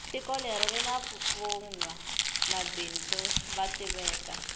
tiko leri rini vanwa mabindzu vo tiveka